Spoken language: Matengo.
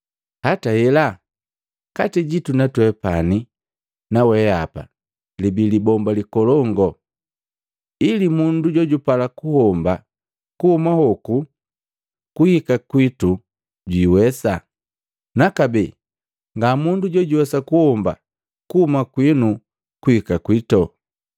Hata hela, kati jitu twepani na weapa libi libomba likolongu, ili mundu jojupala kuhomba kuhuma hoku kuhika kwitu jwiiwesa, na kabee nga mundu jojuwesa kuhomba kuhuma kwinu kuhika kwito.’